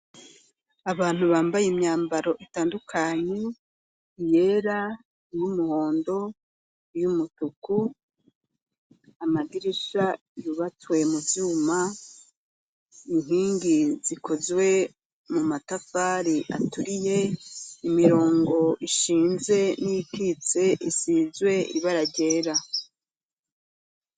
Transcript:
Abantu bambaye imyambaro itandukanye yera, iyumuhondo, iyumutuku, amadirisha yubatswe muvyuma, inkingi zikozwe mu matafari aturiye, imirongo ishinze n'iyikitse isizwe ibara ryera.